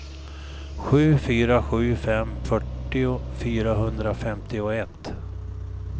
sju fyra sju fem fyrtio fyrahundrafemtioett